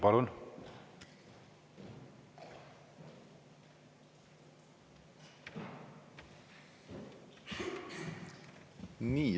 Palun!